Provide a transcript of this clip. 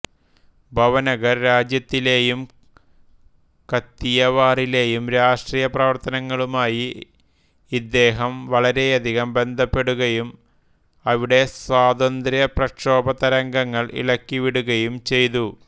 ഭവനഗർ രാജ്യത്തിലേയും കത്തിയവാറിലേയും രാഷ്ട്രീയ പ്രവർത്തനങ്ങളുമായി ഇദ്ദേഹം വളരെയധികം ബന്ധപ്പെടുകയും അവിടെ സ്വാതന്ത്ര്യ പ്രക്ഷോഭതരംഗങ്ങൾ ഇളക്കി വിടുകയും ചെയ്തു